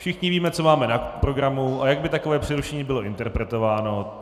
Všichni víme, co máme na programu a jak by takové přerušení bylo interpretováno.